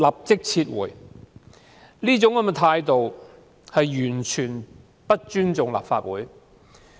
政府這種態度，完全不尊重立法會。